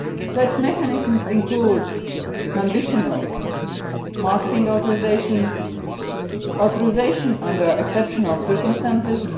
Such mechanisms include conditional marketing authorisation and authorisation under exceptional circumstances.